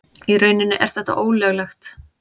Í rauninni er þetta ólöglegt.